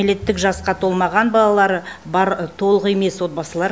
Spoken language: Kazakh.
кәмелеттік жасқа толмаған балалары бар толық емес отбасылар